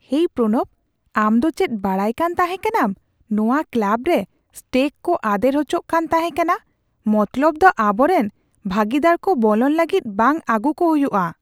ᱦᱮᱭ ᱯᱨᱚᱱᱚᱵ, ᱟᱢ ᱫᱚ ᱪᱮᱫ ᱵᱟᱰᱟᱭᱠᱟᱱ ᱛᱟᱦᱮᱠᱟᱱᱟᱢ ᱱᱚᱣᱟ ᱠᱞᱟᱵ ᱨᱮ ᱥᱴᱮᱜ ᱠᱚ ᱟᱫᱮᱨ ᱚᱪᱚᱜ ᱠᱟᱱ ᱛᱟᱦᱮᱸᱠᱟᱱᱟ ? ᱢᱚᱛᱞᱚᱵ ᱫᱚ ᱟᱵᱚᱨᱮᱱ ᱵᱷᱟᱹᱜᱤᱫᱟᱨᱠᱚ ᱵᱚᱞᱚᱱ ᱞᱟᱹᱜᱤᱫ ᱵᱟᱝ ᱟᱹᱜᱩ ᱠᱚ ᱦᱩᱭᱩᱜᱼᱟ !